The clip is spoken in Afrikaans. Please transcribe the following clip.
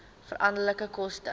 veranderlike koste